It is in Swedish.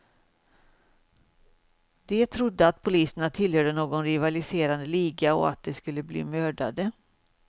De trodde att poliserna tillhörde någon rivaliserande liga och att de skulle bli mördade.